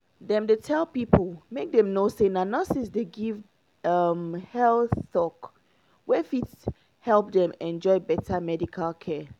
dem dey tell pipo make dem know say na nurses dey give um health talk wey fit help dem enjoy better medical care.